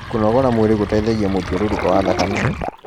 kũnogora mwĩrĩ gũteithagia mũthiũrũrũko wa thakame